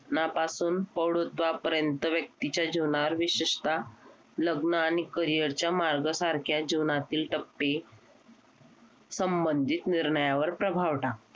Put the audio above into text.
ना पासून प्रौधुत्वापर्यंत व्यक्तीच्या जीवनावर विशेषतः लग्न आणि Career च्या मार्गसारख्या जीवनातील टप्पे संबंधित निर्णयावर प्रभाव टाकता